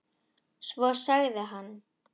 Svo sagði hann